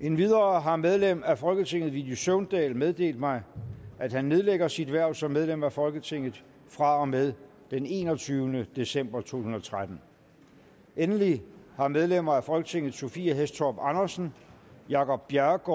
endvidere har medlem af folketinget villy søvndal meddelt mig at han nedlægger sit hverv som medlem af folketinget fra og med den enogtyvende december to tusind og tretten endelig har medlemmer af folketinget sophie hæstorp andersen jacob jacob